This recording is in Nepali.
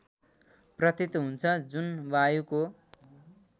प्रतीत हुन्छ जुन वायुको